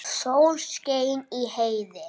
Sól skein í heiði.